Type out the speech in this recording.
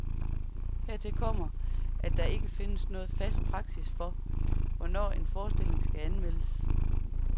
Hertil kommer, at der ikke findes nogen fast praksis for, hvornår en forestilling skal anmeldes.